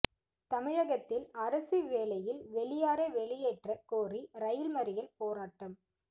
தமிழகத்தில் அரசு வேலையில் வெளியாரை வெளியேற்றக் கோரி ரயில் மறியல் போராட்டம்